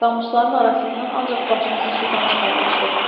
Qamışların arasından ancaq başımızı sudan çıxarmışdıq.